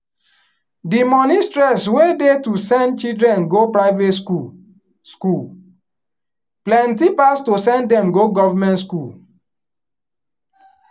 di money stress wey dey to send children go private school school plenty pass to send dem go goverment school.